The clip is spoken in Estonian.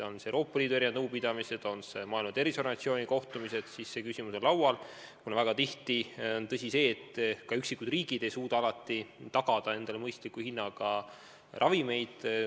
On need Euroopa Liidu nõupidamised, on need Maailma Terviseorganisatsiooni kohtumised – see küsimus on ikka laual, kuna väga tihti on tõsi see, et kõik riigid ei suuda alati tagada endale mõistliku hinnaga ravimeid.